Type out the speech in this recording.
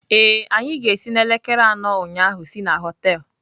Ee, anyị ga-esi n'elekere anọ ụnyaahụ si na họtel*